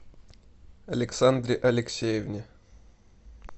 александре алексеевне